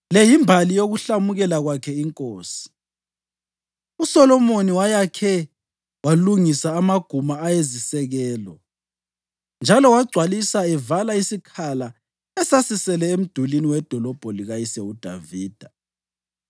Le yimbali yokuhlamukela kwakhe inkosi: USolomoni wayakhe walungisa amaguma ayizisekelo, njalo wagcwalisa evala isikhala esasisele emdulini wedolobho likayise uDavida.